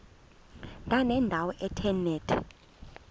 ndanendawo ethe nethe